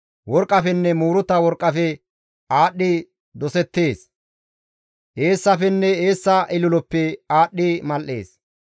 Worqqafenne muuruta worqqafe aadhdhi dosettees; eessafenne eessa ililoppe aadhdhi mal7ees.